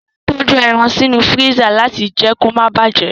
A máa n tọju ẹran sínú fírísà láti jẹ kí o ma bàjẹ́.